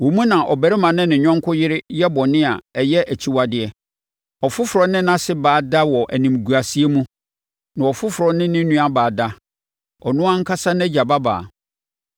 Wo mu na ɔbarima ne ne yɔnko yere yɛ bɔne a ɛyɛ akyiwadeɛ. Ɔfoforɔ ne nʼase baa da wɔ animguaseɛ mu, na ɔfoforɔ ne ne nuabaa da, ɔno ankasa nʼagya babaa.